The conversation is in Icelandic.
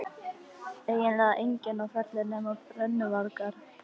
Eiginlega enginn á ferli nema brennuvargar.